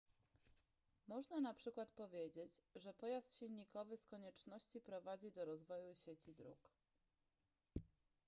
można na przykład powiedzieć że pojazd silnikowy z konieczności prowadzi do rozwoju sieci dróg